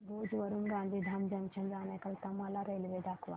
भुज वरून गांधीधाम जंक्शन जाण्या करीता मला रेल्वे दाखवा